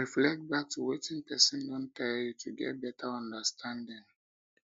reflect back to wetin person don tell you to get better understanding